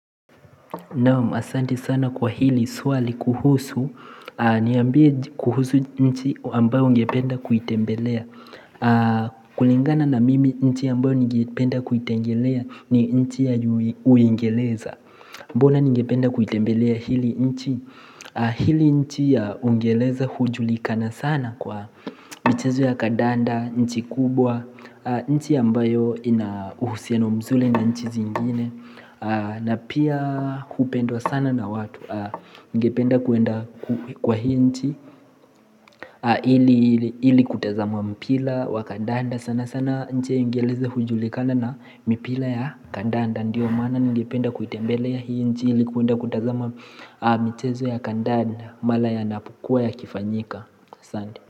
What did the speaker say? Naam, asante sana kwa hili swali kuhusu, niambie kuhusu nchi ambayo ungependa kuitembelea kulingana na mimi nchi ambayo ningependa kuitembelea ni nchi ya Uingereza Mbona ningependa kuitembelea hili nchi? Hili nchi ya Uingereza hujulikana sana kwa michezo ya kandanda, nchi kubwa, nchi ambayo ina uhusiano mzuri na nchi zingine na pia hupendwa sana na watu. Ningependa kwenda kwa hii nchi ili kutazama mpira wa kandanda. Sana sana nchi ya Uingereza hujulikana na mipira ya kandanda. Ndiyo maana ningependa kuitembelea hii nchi ili kwenda kutazama michezo ya kandanda mara yanapokuwa yakifanyika asante.